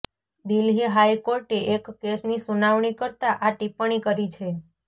દિલ્લી હાઇકોર્ટે એક કેસની સુનાવણી કરતા આ ટિપ્પણી કરી છે